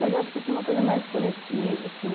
Mas eu acho que tinha uma coisa mais coletiva, assim.